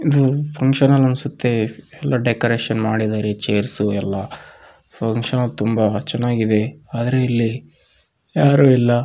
ಇದು function hall ಅನ್ಸತ್ತೆ ಎಲ್ಲ ಡೆಕೋರೇಷನ್ ಮಾಡಿದ್ದಾರೆ ಚೇರ್ಸು ಎಲ್ಲ ಫಂಕ್ಷನ್‌ ತುಂಬ ಚೆನ್ನಾಗಿದೆ ಆದ್ರೆ ಇಲ್ಲಿ ಯಾರು ಇಲ್ಲ.